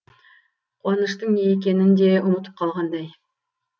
қуаныштың не екенін де ұмытып қалғандай